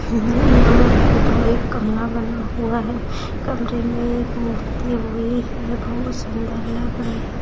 हूँ यहाँ पर दो एक कमरा बना हुआ है कमरे में एक मूर्ति हुई है बहुत सुंदर लग रही --